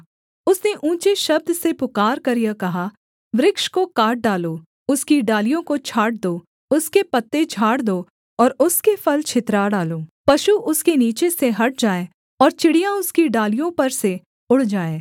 उसने ऊँचे शब्द से पुकारकर यह कहा वृक्ष को काट डालो उसकी डालियों को छाँट दो उसके पत्ते झाड़ दो और उसके फल छितरा डालो पशु उसके नीचे से हट जाएँ और चिड़ियाँ उसकी डालियों पर से उड़ जाएँ